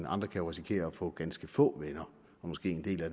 andre kan risikere at få ganske få venner og måske en del af